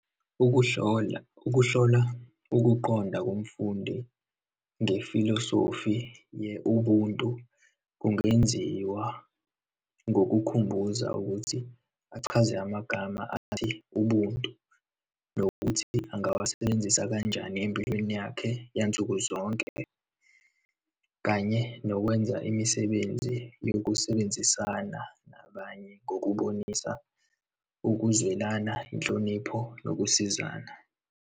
Ukuhlolam, ukuhlola ukuqonda komfundi ngefilosofi ye-ubuntu kungenziwa ngikukhumbuza ukuthi achaze amagama athi, ubuntu nokuthi angawasebenzisa kanjani empilweni yakhe yansuku zonke, kanye nokwenza imisebenzi yokusebenzisana nabanye ngokubonisa ukuzwelana, inhlonipho, nokusizana.